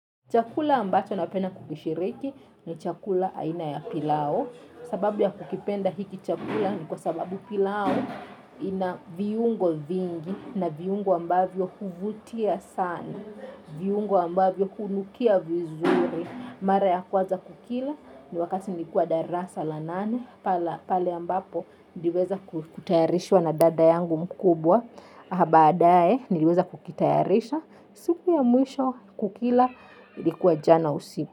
Chakula ambacho napenda kukishiriki ni chakula aina ya pilau. Sababu ya kukipenda hiki chakula ni kwa sababu pilau ina viungo vingi na viungo ambavyo huvutia sana. Viungo ambavyo hunukia vizuri. Mara ya kwanza kukila ni wakati nikua darasa la nane. Pale ambapo niliweza kutayarishwa na dada yangu mkubwa. Na badae niweza kukitayarisha. Siku ya mwisho kukila ilikuwa jana usiku.